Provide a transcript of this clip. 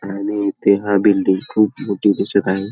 आणि इथे हा बिल्डिंग खूप मोठी दिसत आहे.